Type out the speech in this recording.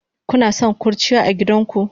Kanason kurciya agidanka?